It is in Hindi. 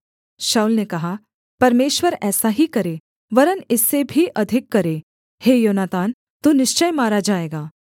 शाऊल ने कहा परमेश्वर ऐसा ही करे वरन् इससे भी अधिक करे हे योनातान तू निश्चय मारा जाएगा